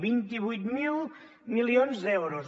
vint vuit mil milions d’euros